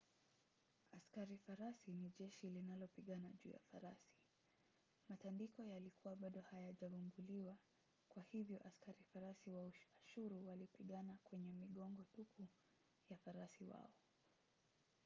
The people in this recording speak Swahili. askari farasi ni jeshi linalopigana juu ya farasi. matandiko yalikuwa bado hayajavumbuliwa kwa hivyo askari farasi wa ashuru walipigana kwenye migongo tupu ya farasi wao